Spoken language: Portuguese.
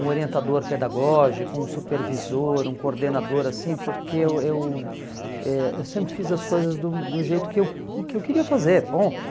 um orientador pedagógico, um supervisor, um coordenador, assim, porque eu eu eh sempre fiz as coisas do do jeito que eu que eu queria fazer, ponto.